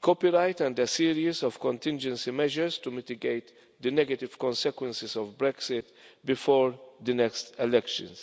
copyright and a series of contingency measures to mitigate the negative consequences of Brexit before the next elections.